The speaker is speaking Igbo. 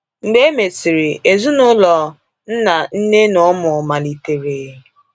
Mgbe emesịrị, ezinụlọ—nna, nne, na ụmụ—malitere.